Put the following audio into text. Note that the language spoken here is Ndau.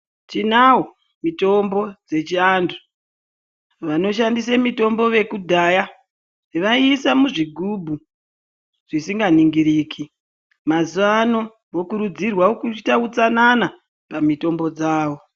Tinayo mitombo dzechiantu vanoshandis mitombo yekudhaya vaisa muzvigubhu zvisikaningiriki mazuvano vokurudzirwa kuita utsanana pamitombo dzavo .